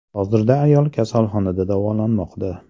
Hozirda ayol kasalxonada davolanmoqda.